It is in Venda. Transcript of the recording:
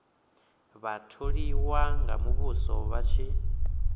vhatholiwa vha muvhuso vha tshi